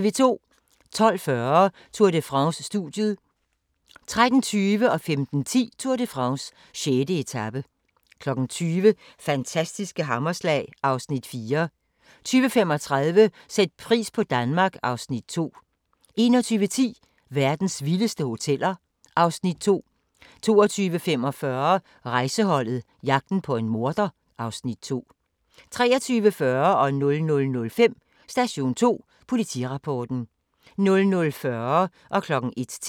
12:40: Tour de France: Studiet 13:20: Tour de France: 6. etape 15:10: Tour de France: 6. etape 20:00: Fantastiske hammerslag (Afs. 4) 20:35: Sæt pris på Danmark (Afs. 2) 21:10: Verdens vildeste hoteller (Afs. 2) 22:45: Rejseholdet - jagten på en morder (Afs. 2) 23:40: Station 2: Politirapporten 00:05: Station 2: Politirapporten 00:40: Grænsepatruljen